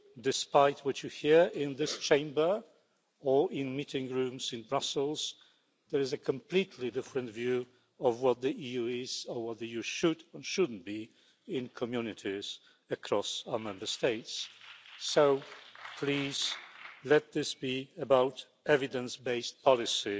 Despite what you hear in this Chamber or in meeting rooms in Brussels, there is a completely different view of what the EU is or what the EU should and shouldn't be in communities across our Member States, so please let this be about evidence based policy,